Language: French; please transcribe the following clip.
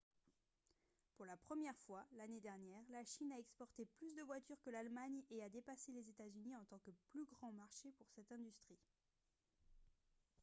pour la première fois l'année dernière la chine a exporté plus de voitures que l'allemagne et a dépassé les états-unis en tant que plus grand marché pour cette industrie